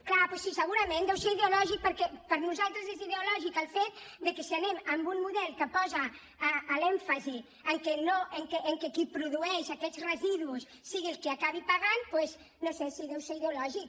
clar sí segurament deu ser ideològic perquè per nosaltres és ideològic el fet de que si anem amb un model que posa l’èmfasi en que qui produeix aquests residus sigui el que acabi pagant doncs no ho sé sí deu ser ideològic